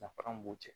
Danfara mun b'u cɛ